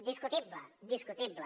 discutible discutible